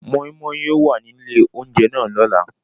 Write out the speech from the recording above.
Moi Moi yóò wa ni ile ounjẹ náà lọla.